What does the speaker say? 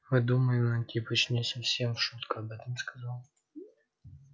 мы думаем антипыч не совсем в шутку об этом сказал